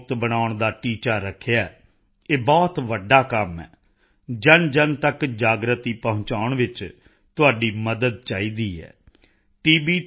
ਮੁਕਤ ਬਣਾਉਣ ਦਾ ਟੀਚਾ ਰੱਖਿਆ ਹੈ ਇਹ ਬਹੁਤ ਵੱਡਾ ਕੰਮ ਹੈ ਜਨਜਨ ਤੱਕ ਜਾਗਰਿਤੀ ਪਹੁੰਚਾਉਣ ਵਿੱਚ ਤੁਹਾਡੀ ਮਦਦ ਚਾਹੀਦੀ ਹੈ ਟੀ